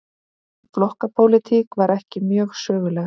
Flokkapólitík var ekki mjög söguleg.